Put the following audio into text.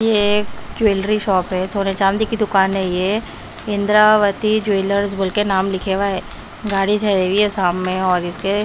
ये एक jewellery shop है सोने चांदी की दुकान है ये इंदिरावती ज्वेलर्स बोल के नाम लिखे हुआ है गाड़ी ठेरी हुई है सामने और इसके--